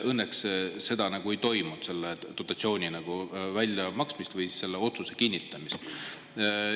Õnneks seda nagu ei toimunud, selle dotatsiooni väljamaksmist või selle otsuse kinnitamist.